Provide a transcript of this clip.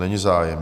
Není zájem.